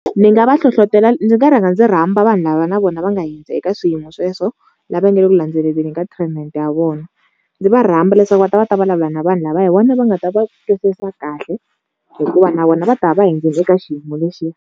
Ni nga va hlohlotelo, ndzi nga rhanga ndzi rhamba vanhu lava na vona va nga hundza eka swiyimo sweswo lava nga le ku landzeleleli ka treatment ya vona. Ndzi va rhamba leswaku va ta va ta vulavula na vanhu lava hi vona va nga ta va twisisa kahle hikuva na vona va ta va va hundzile eka xiyimo lexiya.